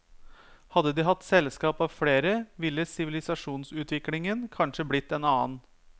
Hadde de hatt selskap av flere, ville sivilisasjonsutviklingen kanskje blitt en annen.